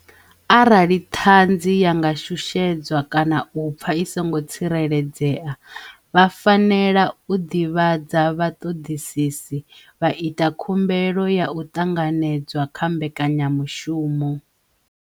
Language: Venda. Arali ṅhanzi ya nga shushedzwa kana u pfa i songo tsireledzea, vha fanela u ṅivhadza vhaṅoṅisisi, vha ita khumbelo ya u ṅanganedzwa kha mbekanyamushumo.